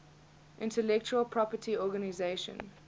intellectual property organization